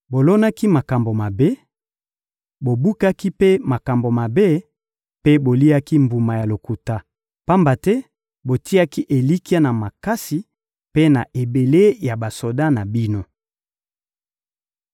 Bolonaki makambo mabe, bobukaki mpe makambo mabe mpe boliaki mbuma ya lokuta, pamba te botiaki elikya na makasi mpe na ebele ya basoda na bino.